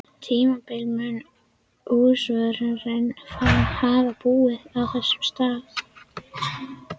tímabili mun húsvörðurinn hafa búið á þessum stað.